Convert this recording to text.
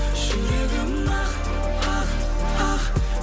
жүрегім ақ ақ ақ